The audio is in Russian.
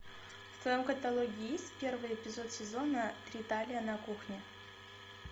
в твоем каталоге есть первый эпизод сезона три талия на кухне